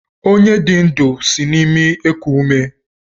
Onye dị ndụ sị na-imi eku ume.